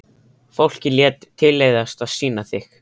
Fólkið lét tilleiðast að sýna þig.